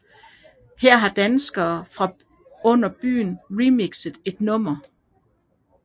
Her har danskerne fra Under Byen remixet et nummer